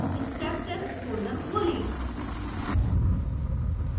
steptest folder खोलें